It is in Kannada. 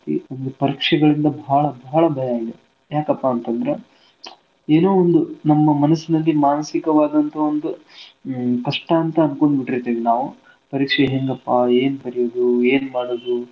ಒಂದು ಪರೀಕ್ಷೆಗಳಿಂದ ಭಾಳ ಭಾಳ ಭಯ ಇದೆ. ಯಾಕಪಾಂತಂದ್ರೆ ಏನೋ ಒಂದು ನಮ್ಮ ಮನುಷ್ಯನಿಗೆ ಮಾನಸಿಕವಾದಂತ ಒಂದು ಹ್ ಕಷ್ಟ ಅಂತ ಅಂದ್ಕೊಂಡ್ಬಿಟ್ಟಿರ್ತೀವ್ ನಾವ್ ಪರೀಕ್ಷೆ ಹೆಂಗಪಾ ಏನ್ ಬರ್ಯೋದು ಏನ್ ಮಾಡೋದು .